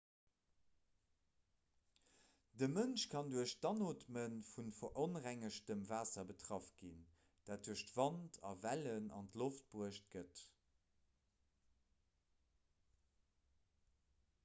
de mënsch kann duerch d'anootme vu veronrengegtem waasser betraff ginn dat duerch wand a wellen an d'loft bruecht gëtt